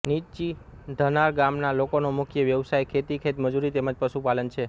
નીચી ધનાળ ગામના લોકોનો મુખ્ય વ્યવસાય ખેતી ખેતમજૂરી તેમ જ પશુપાલન છે